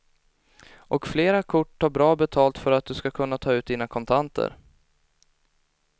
Och flera kort tar bra betalt för att du ska kunna ta ut dina kontanter.